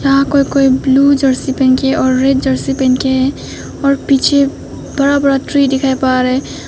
यहां कोई कोई ब्लू जर्सी पहन के है और रेड जर्सी पहन के है और पीछे बड़ा ट्री दिखाई पड़ रहा है।